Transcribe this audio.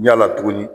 Ɲala tugunni